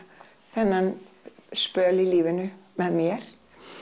þennan spöl í lífinu með mér